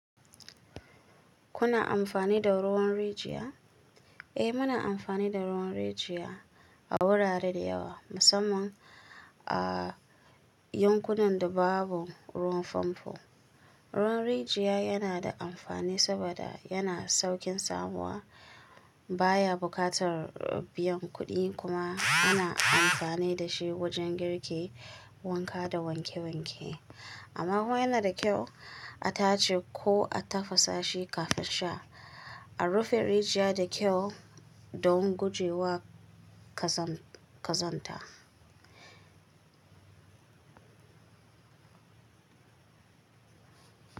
Kuna amfani da ruwan rijiya? Eh, muna amfani da ruwan rijiya a wurare da yawa, musamman a yankunan da babu ruwan famfo. Ruwan rijiya yana da amfani saboda yana saukin samuwa, baya buƙatar biyan kuɗi, kuma ana amfani da shi wajen girki, wanka, da wanke-wanke. Amma kuma yana da kyau a tace ko a tafasa shi kafin sha. A rufe rijiya da kyau don guje wa ƙazanta,